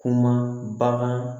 Kuma bagan